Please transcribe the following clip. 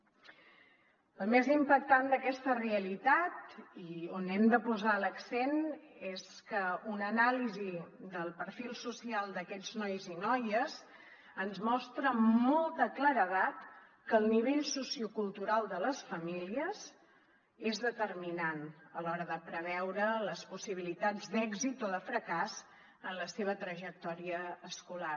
el més impactant d’aquesta realitat i on hem de posar l’accent és que una anàlisi del perfil social d’aquests nois i noies ens mostra amb molta claredat que el nivell sociocultural de les famílies és determinant a l’hora de preveure les possibilitats d’èxit o de fracàs en la seva trajectòria escolar